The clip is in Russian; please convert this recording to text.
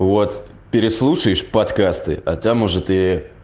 вот переслушаешь подкасты а то может ии